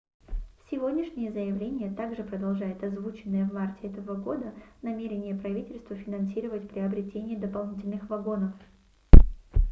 сегодняшнее заявление также продолжает озвученное в марте этого года намерение правительства финансировать приобретение дополнительных вагонов